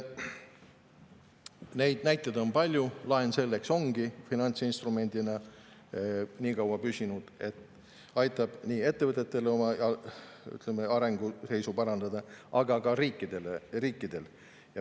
Neid näiteid on palju, laen selleks ongi finantsinstrumendina nii kaua püsinud, et aitab oma arenguseisu parandada nii ettevõtetel kui ka riikidel.